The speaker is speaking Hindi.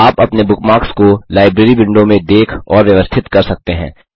आप अपने बुकमार्क्स को लाइब्रेरी विंडो में देख और व्यवस्थित कर सकते हैं